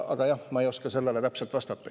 Aga jah, ma ei oska sellele täpselt vastata.